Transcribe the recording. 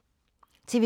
TV 2